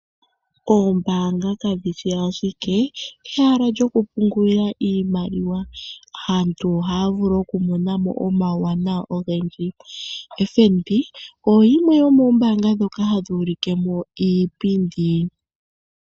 Ombaanga kayishi ashike ehala lyokupungulila iimaliwa. Aantu ohaya vulu okumonamo omawuwanawa ogendji. FNB oyo yimwe yomoombanga dhoka hadhi ulikemo iipindi.